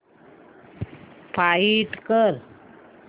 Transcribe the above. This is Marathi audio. फाइंड कर